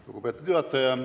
Lugupeetud juhataja!